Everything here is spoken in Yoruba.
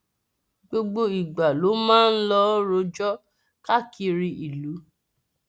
gbogbo ìgbà ló máa ń lọọ rọjò káàkiri ìlú